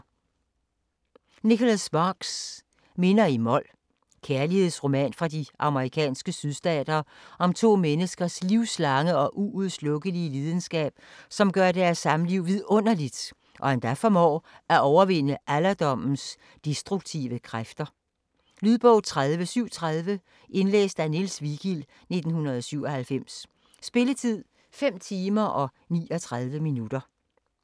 Sparks, Nicholas: Minder i mol Kærlighedsroman fra de amerikanske sydstater om to menneskers livslange og uudslukkelige lidenskab, som gør deres samliv vidunderligt og endda formår at overvinde alderdommens destruktive kræfter. Lydbog 30730 Indlæst af Niels Vigild, 1997. Spilletid: 5 timer, 59 minutter.